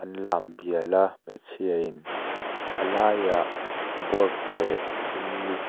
an lambial a hmeichhia in a laiah board leh thil--